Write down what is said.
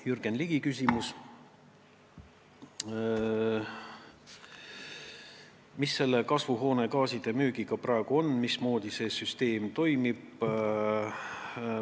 Jürgen Ligi küsimus: kuidas kasvuhoonegaaside müügiga praegu on, mismoodi see süsteem toimib?